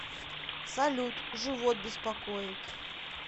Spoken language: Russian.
салют живот беспокоит